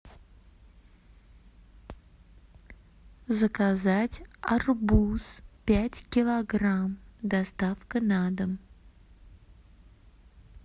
заказать арбуз пять килограмм доставка на дом